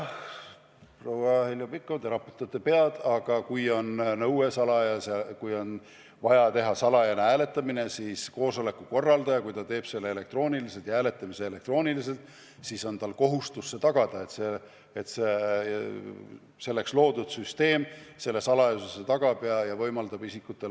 Proua Heljo Pikhof, te raputate pead, aga kui on vaja teha salajane hääletamine, siis koosoleku korraldaja, kui ta soovib seda teha elektrooniliselt, peab tagama, et süsteem selle salajasuse garanteerib.